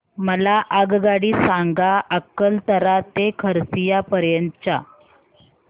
मला आगगाडी सांगा अकलतरा ते खरसिया पर्यंत च्या